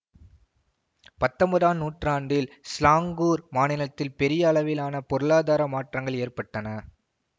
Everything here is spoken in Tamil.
பத்தொன்பதாம் நூற்றாண்டில் சிலாங்கூர் மாநிலத்தில் பெரிய அளவிலான பொருளாதார மாற்றங்கள் ஏற்பட்டன